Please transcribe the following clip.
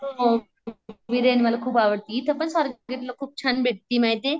बिर्याणी मला खूप आवडती. इथंपण स्वारगेटला खूप छान भेटती माहितीये.